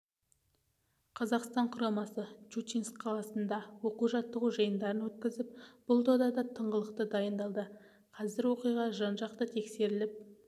қазақстан құрамасы щучинск қаласында оқу-жаттығу жиындарын өткізіп бұл додаға тыңғылықты дайындалды қазір оқиға жан жақты тексеріліп